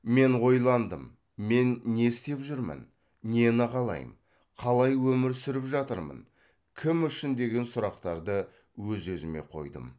мен ойландым мен не істеп жүрмін нені қалаймын қалай өмір сүріп жатырмын кім үшін деген сұрақтарды өз өзіме қойдым